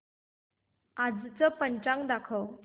आजचं पंचांग दाखव